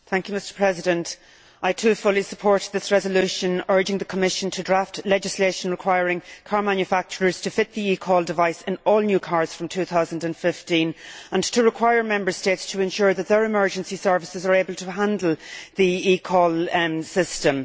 Mr President, I, too, fully support this resolution urging the Commission to draft legislation requiring car manufacturers to fit the eCall device in all new cars from 2015, and to require Member States to ensure that their emergency services are able to handle the eCall system.